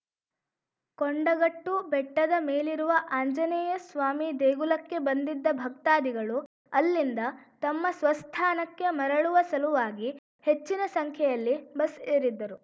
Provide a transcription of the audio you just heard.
ಕೊಂಡಗಟ್ಟು ಬೆಟ್ಟದ ಮೇಲಿರುವ ಆಂಜನೇಯ ಸ್ವಾಮಿ ದೇಗುಲಕ್ಕೆ ಬಂದಿದ್ದ ಭಕ್ತಾದಿಗಳು ಅಲ್ಲಿಂದ ತಮ್ಮ ಸ್ವಸ್ಥಾನಕ್ಕೆ ಮರಳುವ ಸಲುವಾಗಿ ಹೆಚ್ಚಿನ ಸಂಖ್ಯೆಯಲ್ಲಿ ಬಸ್‌ ಏರಿದ್ದರು